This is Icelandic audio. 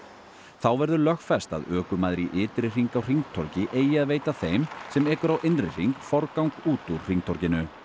þá verður lögfest að ökumaður í ytri hring á hringtorgi eigi að veita þeim sem ekur á innri hring forgang út úr hringtorginu